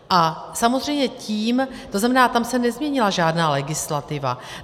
A samozřejmě tím - to znamená, tam se nezměnila žádná legislativa.